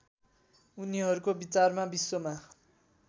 उनीहरूको विचारमा विश्वमा